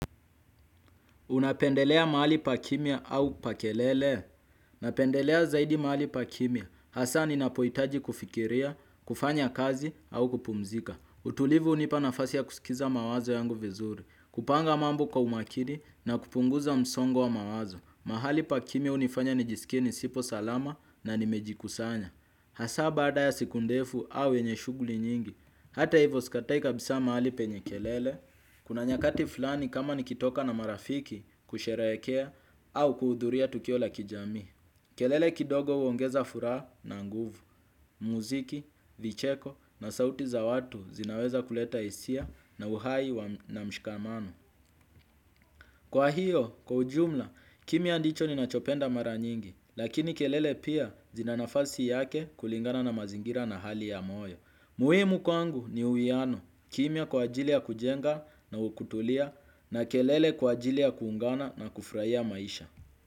Unapendelea mahali pa kimya au pa kelele? Napendelea zaidi mahali pa kimia. Hasaa ninapohitaji kufikiria, kufanya kazi au kupumzika. Utulivu hunipa nafasi ya kusikiza mawazo yangu vizuri. Kupanga mambo kwa umakini na kupunguza msongo wa mawazo. Mahali pa kimya hunifanya nijisikie sipo salama na nimejikusanya. Hasaa baada ya siku ndefu au yenye shughuli nyingi. Hata ivo sikatai kabisa mahali penye kelele. Kuna nyakati fulani kama nikitoka na marafiki kusherekea au kuhudhuria tukio la kijamii. Kelele kidogo huongeza furaha na nguvu, muziki, vicheko na sauti za watu zinaweza kuleta hisia na uhai na mshikamano. Kwa hiyo, kwa ujumla, kimya ndicho ninachopenda mara nyingi. Lakini kelele pia zina nafasi yake kulingana na mazingira na hali ya moyo. Muhimu kwangu ni uwiano, kimya kwa ajili ya kujenga na ukutulia na kelele kwa ajili ya kuungana na kufurahia maisha.